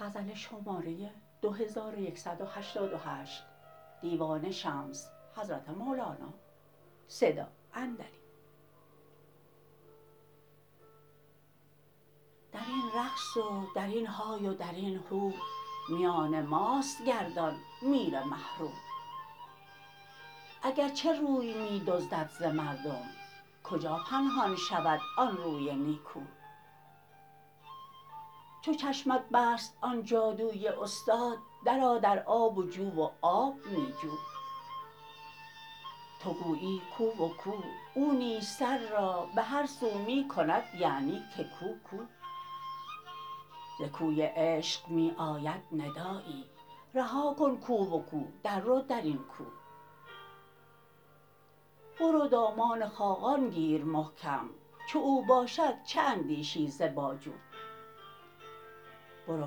در این رقص و در این های و در این هو میان ماست گردان میر مه رو اگر چه روی می دزدد ز مردم کجا پنهان شود آن روی نیکو چو چشمت بست آن جادوی استاد درآ در آب جو و آب می جو تو گویی کو و کو او نیز سر را به هر سو می کند یعنی که کو کو ز کوی عشق می آید ندایی رها کن کو و کو دررو در این کو برو دامان خاقان گیر محکم چو او باشد چه اندیشی ز باجو برو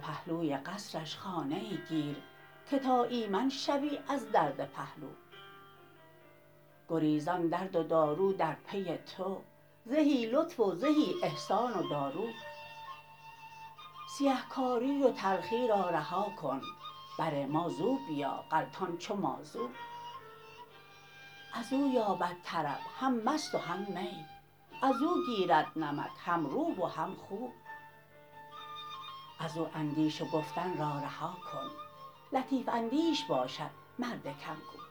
پهلوی قصرش خانه ای گیر که تا ایمن شوی از درد پهلو گریزان درد و دارو در پی تو زهی لطف و زهی احسان و دارو سیه کاری و تلخی را رها کن بر ما زو بیا غلطان چو مازو از او یابد طرب هم مست و هم می از او گیرد نمک هم رو و هم خو از او اندیش و گفتن را رها کن لطیف اندیش باشد مرد کم گو